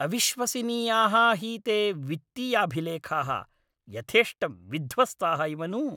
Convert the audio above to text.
अविश्वसनीयाः हि ते वित्तीयाभिलेखाः यथेष्टं विध्वस्ताः इव नु!